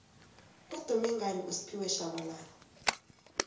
udume ngani ufphiwe shabalala